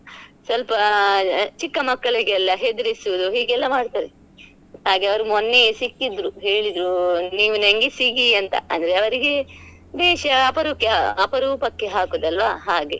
ಸ್ವಲ್ಪ ಚಿಕ್ಕ ಮಕ್ಕಳಿಗೆಲ್ಲ ಹೆದ್ರಿಸೋದು ಹೀಗೆ ಎಲ್ಲ ಮಾಡ್ತಾರೆ ಹಾಗೆ ಅವ್ರ್ ಮೊನ್ನೆ ಸಿಕ್ಕಿದ್ರು ಹೇಳಿದ್ರು ನೀವ್ ನಂಗೆ ಸಿಗಿ ಅಂತ ಆದ್ರೆ ಅವ್ರಿಗೆ ವೇಷ ಅಪರುಕಿ~ ಅಪರೂಪಕೆ ಹಾಕೋದ್ ಅಲ್ಲ್ವ ಹಾಗೆ.